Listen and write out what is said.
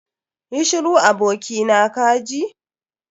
Yi shiru abokina kaji.